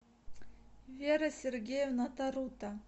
вера сергеевна тарута